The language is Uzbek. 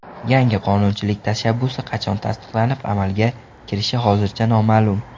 Yangi qonunchilik tashabbusi qachon tasdiqlanib, amalga kirishi hozircha noma’lum.